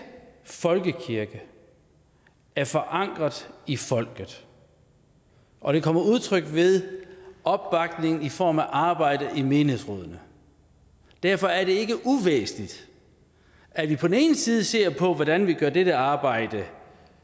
folkekirke er forankret i folket og det kommer til udtryk ved opbakning i form af arbejdet i menighedsrådene derfor er det ikke uvæsentligt at vi på den ene side ser på hvordan vi gør dette arbejde